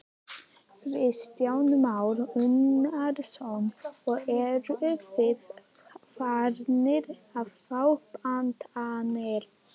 Kristján Már Unnarsson: Og eruð þið farnir að fá pantanir?